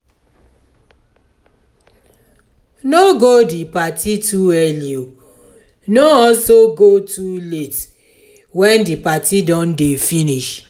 no go di parti too early no also go too late when the parti don de finish